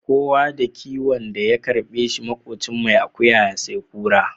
Kowa da kiwon da ya karɓe shi, maƙocin mai akuya ya sai kura.